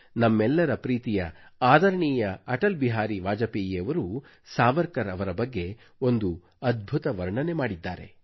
ನಮ್ಮೆಲ್ಲರ ಪ್ರೀತಿಯ ಆದರಣೀಯ ಅಟಲ್ ಬಿಹಾರಿ ವಾಜಪೇಯಿಯವರು ಸಾವರ್ಕರ್ ಅವರ ಬಗ್ಗೆ ಒಂದು ಅದ್ಭುತ ವರ್ಣನೆ ಮಾಡಿದ್ದಾರೆ